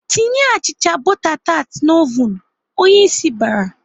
"Tinye achịcha bọta tat n'ovun!" Onyeisi bara.